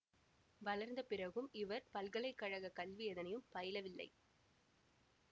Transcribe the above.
வளர்ந்த பிறகும் இவர் பல்கலை கழகக் கல்வி எதனையும் பயிலவில்லை